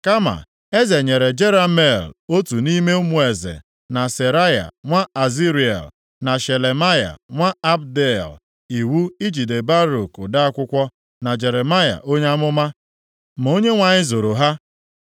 Kama eze nyere Jerameel otu nʼime ụmụ eze, na Seraya nwa Azriel, na Shelemaya nwa Abdeel iwu ijide Baruk ode akwụkwọ, na Jeremaya onye amụma, ma Onyenwe anyị zoro ha.